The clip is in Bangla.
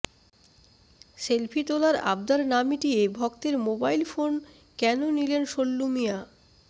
সেলফি তোলার আবদার না মিটিয়ে ভক্তের মোবাইল ফোন কেন নিলেন সল্লু মিঞা